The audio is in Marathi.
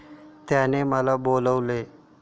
त्याने मला बोलविले.